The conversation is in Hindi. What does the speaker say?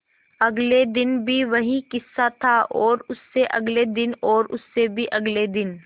अगले दिन भी वही किस्सा था और उससे अगले दिन और उससे भी अगले दिन